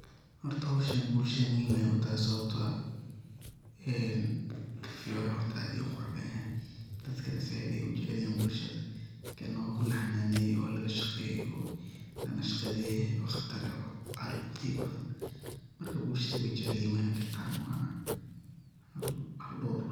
Horta howshan bulshada muhim ayey u tahay sababto ah, een fiyoraha horto aad ayu u qurux badan yahay. Dadkana zaid ayey u jecelyihin bulshada kana waa ku laxananeye oo laqashaqeye oo lanashqadeye oo qatar oo udheg badan marka bulshada wey jecel yihin weyna gatan waana hal dowr.